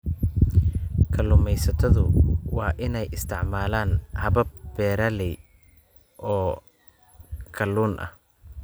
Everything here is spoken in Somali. Kalluumaysatadu waa inay isticmaalaan habab beeralayn ah oo kalluun ah.